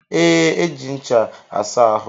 E, eji ncha asa ahụ.